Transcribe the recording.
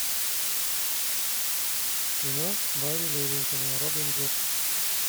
кино барри левинсона робин гуд